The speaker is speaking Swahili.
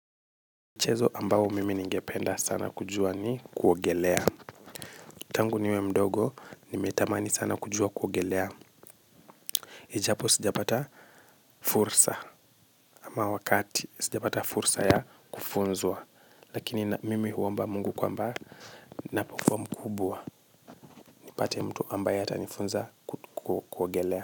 Mchezo ambao mimi ningependa sana kujua ni kuogelea tangu niwe mdogo nimetamani sana kujua kuogelea ijapo sijapata fursa ama wakati sijapata fursa ya kufunzwa. Lakini mimi huomba mungu kwamba na perform kubwa. Ni pate mtu ambaye atanifunza kuogelea.